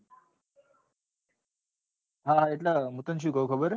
એટલે હું તને શું કઉં ખબર છે?